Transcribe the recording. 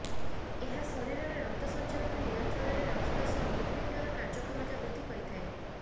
ଏହା ଶରୀରରେ ରକ୍ତ ସଞ୍ଚାଳନ ନିୟନ୍ତ୍ରଣରେ ରଖିବା ସହ ହୃତ୍ପିଣ୍ଡର କାର୍ଯ୍ୟକ୍ଷମତା ବୃଦ୍ଧି କରିଥାଏ